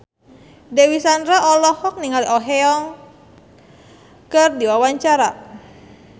Dewi Sandra olohok ningali Oh Ha Young keur diwawancara